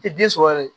Tɛ den sɔrɔ yɛrɛ